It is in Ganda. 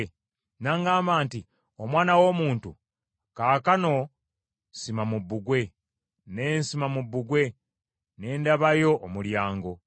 N’aŋŋamba nti, “Omwana w’omuntu, kaakano sima mu bbugwe.” Ne nsima mu bbugwe, ne ndabayo omulyango.